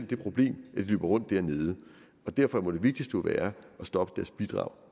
det problem at de løber rundt dernede derfor må det vigtigste jo være at stoppe deres bidrag